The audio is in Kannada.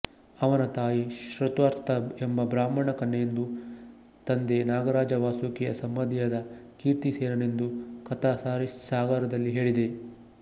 ಅವನ ತಾಯಿ ಶ್ರುತಾರ್ಥಾ ಎಂಬ ಬ್ರಾಹ್ಮಣ ಕನ್ಯೆಯೆಂದು ತಂದೆ ನಾಗರಾಜ ವಾಸುಕಿಯ ಸಂಬಂಧಿಯಾದ ಕೀರ್ತಿಸೇನನೆಂದೂ ಕಥಾ ಸರಿತ್ಸಾಗರದಲ್ಲಿ ಹೇಳಿದೆ